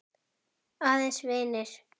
Aðeins vinir.